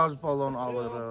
Qaz balon alırıq.